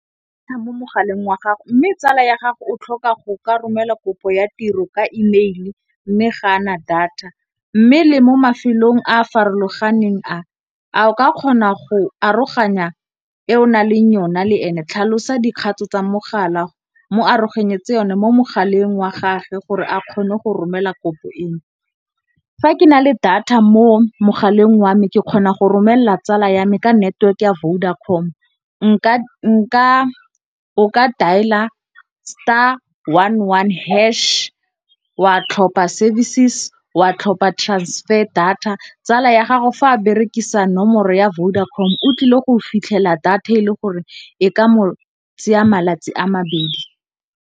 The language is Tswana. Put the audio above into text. Mo mogaleng wa gago mme tsala ya gago o tlhoka go ka romela kopo ya tiro ka email-e mme ga ana data. Mme le mo mafelong a a farologaneng a a o ka kgona go aroganya e o naleng yona le ene tlhalosa dikgato tsa mogala mo aroganyetsa yone mo mogaleng wa gage gore a kgone go romela kopo eno. Fa ke na le data mo mogaleng wa me ke kgona go romella tsala ya me ka network ya Vodacom o ka dialer, star one one hash wa tlhopha services, wa tlhopha transfer data. Tsala ya gago fa a berekisa nomoro ya Vodacom o tlile go fitlhela data e le gore e ka mo tsaya malatsi a mabedi.